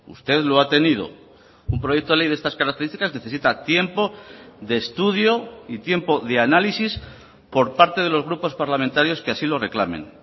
usted lo ha tenido un proyecto de ley de estas características necesita tiempo de estudio y tiempo de análisis por parte de los grupos parlamentarios que así lo reclamen